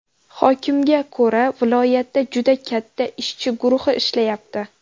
Hokimga ko‘ra viloyatda juda katta ishchi guruhi ishlayapti.